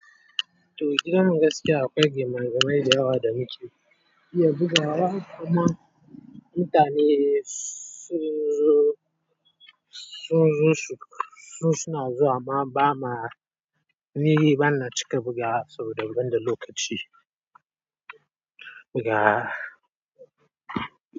Toh gidan gaskiya akwai gima gima dayawa da muke iya bugawa amma mutane sun zo su suna zuwa amma ba ma ni bana cika bugawa saboda ban da lokaci buga.